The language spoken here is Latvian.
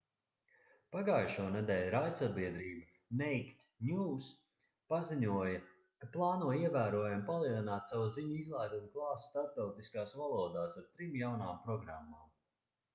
pagājušonedēļ raidsabiedrība naked news paziņoja ka plāno ievērojami palielināt savu ziņu izlaidumu klāstu starptautiskās valodās ar trim jaunām programmām